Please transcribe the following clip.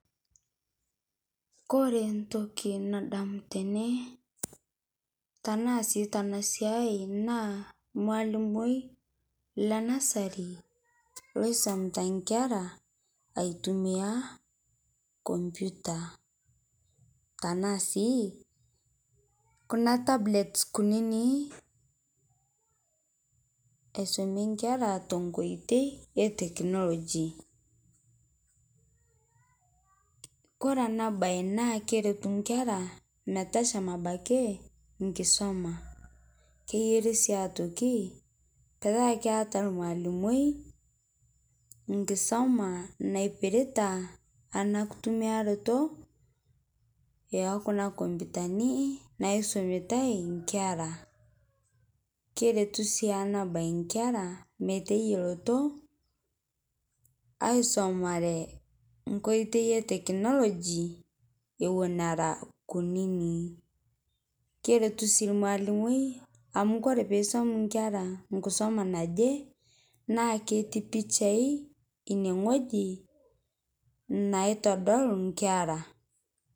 Kore ntoki nadamu tene tanaa sii tana siai naa lmaalimoi lenasari loisomita nkera aitumia computer tanaa sii kunaa tablets kuninii aisomie nkera tenkoitei e technology kore ana bai naa keretu nkera metashama abaki nkisoma keyari sii otoki petaa keata lmaalimoi nkisoma naipirita ana kutumiaroto ekuna kompitani naisomietai nkeraa keretu sii ana bai nkera meteyeloto aisomare nkoitei eteknologi ewon eraa kuninii keretu sii lmaalimoi amu koree peisom nkera nkisoma najii naa ketii pichai inie ng'oji naitodol nkera